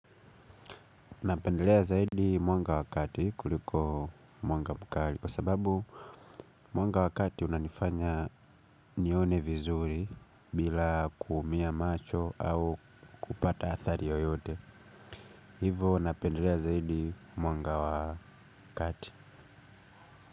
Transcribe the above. Napendelea zaidi mwanga wakati kuliko mwanga mkali. Kwa sababu mwanga wakati unanifanya nione vizuri bila kuumia macho au kupata athari yoyote. Hivo napendelea zaidi mwanga wakati.